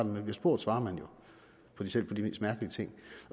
man bliver spurgt svarer man jo på selv de mest mærkelige ting